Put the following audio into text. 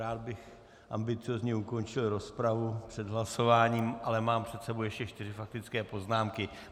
Rád bych ambiciózně ukončil rozpravu před hlasováním, ale mám před sebou ještě čtyři faktické poznámky.